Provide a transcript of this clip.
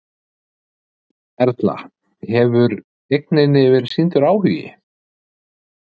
Erla: Hefur eigninni verið sýndur áhugi?